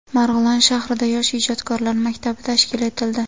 Marg‘ilon shahrida Yosh ijodkorlar maktabi tashkil etildi.